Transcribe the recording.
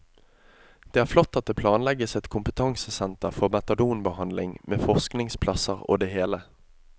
Det er flott at det planlegges et kompetansesenter for metadonbehandling med forskningsplasser og det hele.